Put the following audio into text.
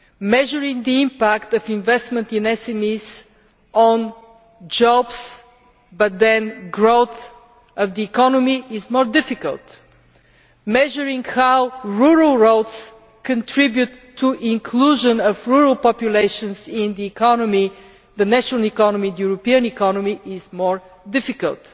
Measuring the impact of investment in SMEs on jobs, then growth of the economy, is not difficult. Measuring how rural roads contribute to inclusion of rural populations in the economy the national and European economy is more difficult.